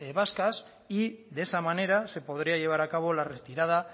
vascas y de esa manera se podría llevar a cabo la retirada